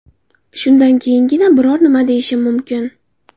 Shundan keyingina biror nima deyishim mumkin.